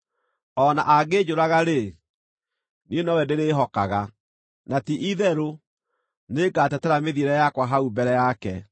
O na angĩnjũraga-rĩ, niĩ nowe ndĩrĩĩhokaga; na ti-itherũ nĩ ngatetera mĩthiĩre yakwa hau mbere yake.